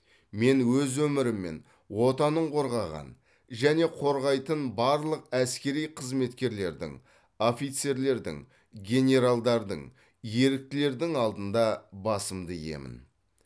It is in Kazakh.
мен өз өмірімен отанын қорғаған және қорғайтын барлық әскери қызметкерлердің офицерлердің генералдардың еріктілердің алдында басымды иемін